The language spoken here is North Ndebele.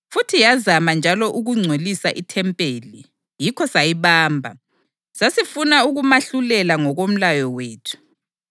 futhi yazama njalo ukungcolisa ithempeli; yikho sayibamba. Sasifuna ukumahlulela ngokomlayo wethu. [